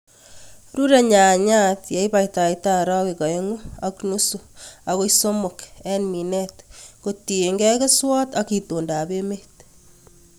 Rure nyanyat ileibata orowek oeng'u ak nusu akoi somok en minet kotiengei keswot ak itondab emet.